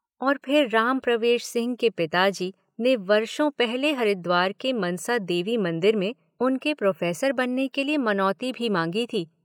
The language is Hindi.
और फिर राम प्रवेश सिंह के पिता जी ने वर्षों पहले हरिद्वार के मनसा देवी मंदिर में उनके प्रोफेसर बनने के लिए मनाौती भी मांगी थी।